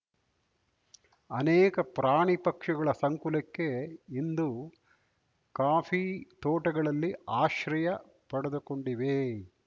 ಅನೇಕ ಪ್ರಾಣಿ ಪಕ್ಷಿಗಳ ಸಂಕುಲಕ್ಕೆ ಇಂದು ಕಾಫಿತೋಟಗಳಲ್ಲಿ ಆಶ್ರಯ ಪಡೆದುಕೊಂಡಿವೆ